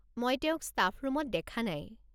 মই তেওঁক ষ্টাফ ৰুমত দেখা নাই।